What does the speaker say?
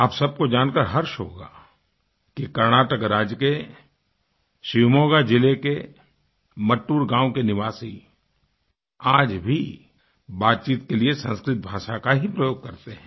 आप सबको जानकार हर्ष होगा कि कर्नाटक राज्य के शिवमोगा जिले के मट्टूर गाँव के निवासी आज भी बातचीत के लिए संस्कृत भाषा का ही प्रयोग करते हैं